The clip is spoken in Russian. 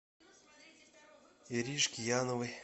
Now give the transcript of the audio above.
иришке яновой